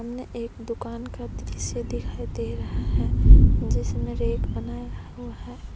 यह एक दुकान का दृश्य दिखाई दे रहा है जिसमें रैक बनाया हुआ है।